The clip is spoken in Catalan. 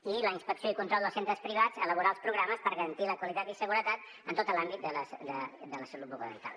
i la inspecció i control dels centres privats elaborar els programes per garantir la qualitat i seguretat en tot l’àmbit de la salut bucodental